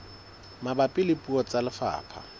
mabapi le puo tsa lefapha